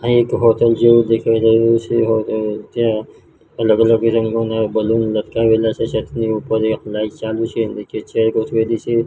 આ એક હોટલ જેવું દેખાય રહ્યું છે જ્યાં અલગ અલગ રંગોના બલૂન લટકાવેલા છે છતની ઉપર એક લાઈટ ચાલુ છે નીચે ચેર ગોઠવેલી છે.